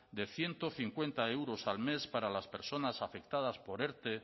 de ciento cincuenta euros al mes para las personas afectadas por erte